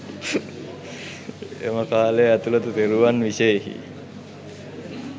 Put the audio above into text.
එම කාලය ඇතුළත තෙරුවන් විෂයෙහි